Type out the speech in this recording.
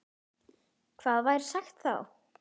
Hvað væri sagt þá?